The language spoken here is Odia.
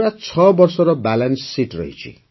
ପୁରା ୬ ବର୍ଷର ବାଲାନ୍ସ ଶୀତ୍ ରହିଛି